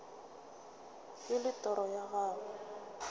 e le toro ya gago